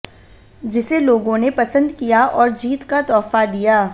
जिसे लोगों ने पसंद किया और जीत का तोहफा दिया